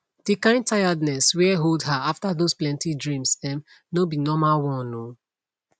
the kind tiredness were hold her after those plenty dreams um no be normlal one o